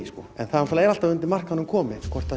en það er alltaf eftir markaðnum komið hvort það